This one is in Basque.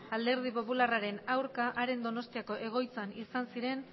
alderdi popularraren aurka haren donostiako egoitzan izan ziren